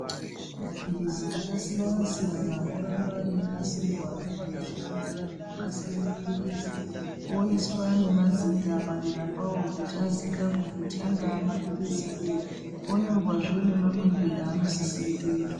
Maphrizi akasiyana-siyana oramba einasirwa ngevakazvifundira zvekunasire maphirizi. Oiswa nemazita padera pawo kuti aziikanwe kuti angaa maphirizi eyi. Onyorwazve nemamwirwe eanosisire kuitwa.